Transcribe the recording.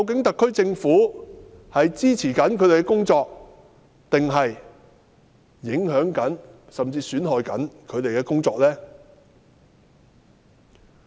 特區政府是支持他們的工作，還是影響甚至損害他們的工作呢？